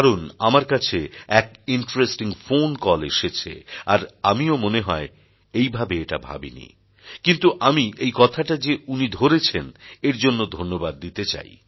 কারণ আমার কাছে এক ইন্টারেস্টিং ফোন কল এসেছে আর আমিও মনে হয় এইভাবে এটা ভাবিনি কিন্তু আমি এই কথাটা যে উনি ধরেছেন এর জন্য ধন্যবাদ দিতে চাই